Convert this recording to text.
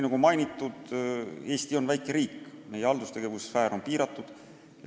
Nagu mainitud, Eesti on väike riik, meie haldustegevuse sfäär on piiratud.